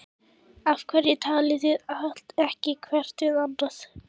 Af hverju talið þið ekki hvert við annað?